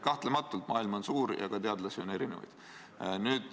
Kahtlematult, maailm on suur ja ka teadlasi on erinevaid.